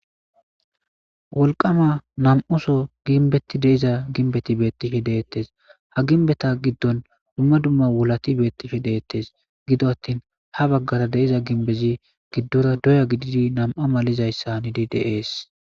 wolqama nam7oso ginbetti deiza ginbetti beettishe deettes ha ginbeta giddon dumma dumma wulati beettishe deettes gido attin ha baggara deiza ginbezi giddora doya gididi nam7a malizayssanidi deees